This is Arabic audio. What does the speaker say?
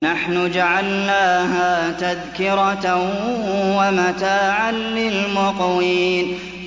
نَحْنُ جَعَلْنَاهَا تَذْكِرَةً وَمَتَاعًا لِّلْمُقْوِينَ